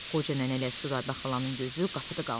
Qoca nənə ilə Südbə xalanın gözü qapıda qalmışdı.